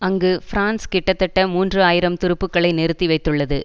அங்கு பிரான்ஸ் கிட்டத்தட்ட மூன்று ஆயிரம் துருப்புக்களை நிறுத்தி வைத்துள்ளது